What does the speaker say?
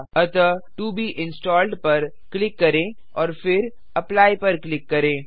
अतः to be installed पर click करें और फिर एप्ली पर क्लिक करें